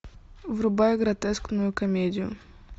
врубай гротескную комедию